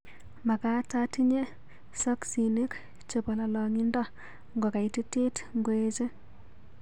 Magaat atinye soksinik chebo lolongindo ngokaitit ngoeche